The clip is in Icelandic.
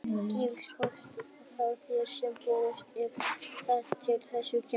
Gefurðu kost á þér sem borgarstjóri ef að til þess kemur?